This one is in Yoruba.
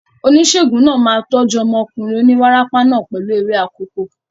Oníṣègùn náà máa tọ́jú ọmọkùnrin oníwárápá náà pẹ̀lú ewé akòko.